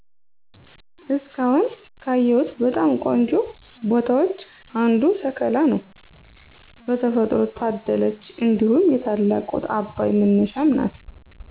እስካሁን ካየሁት በጣም ቆንጆ ቦታዎች አንዱ ሰከላ ነው በተፈጥሮ ታደለች እንዲሁም የታላቁ አባይ መነሻም ናት።